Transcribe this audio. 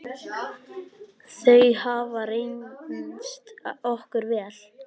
Þau hafa reynst okkur vel.